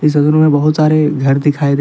इस तस्वीर मे बोहोत सारे घर दिखाई दे रहे --